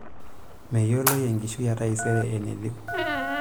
Meyioloi enkishui etaisere enatiu.